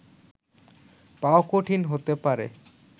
পাওয়া কঠিন হতে পারে